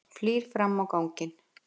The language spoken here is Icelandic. Flýr fram á ganginn.